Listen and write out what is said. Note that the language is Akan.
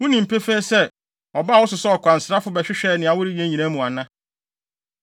Wunim pefee sɛ, ɔbaa wo so sɛ ɔkwansrafo, bɛhwehwɛɛ nea woreyɛ nyinaa mu ana?”